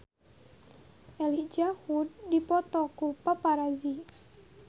Elijah Wood dipoto ku paparazi